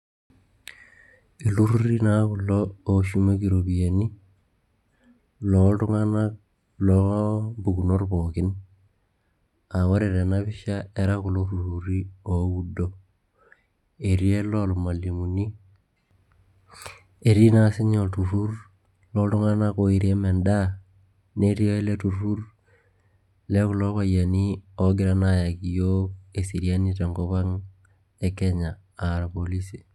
iltururi naa kulo ooshumieki iropiyiani, looltungana loo mpukunot pookin. ore tena pisha era kulo tururi looudo, etii ele loormalimuni, etii naa sii ninye olturur looltungana ooirem edaa. netiii ele turur loo kulo payiani oogira aayaki iyiook eseriani tenkop ang anaa irpolisi.